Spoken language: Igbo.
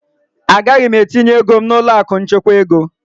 Agaghị m etinye ego m n'ụlọ akụ nchekwa ego.